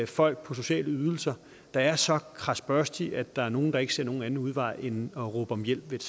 folk på sociale ydelser der er så kradsbørstig at der er nogle der ikke ser nogen anden udvej end at råbe om hjælp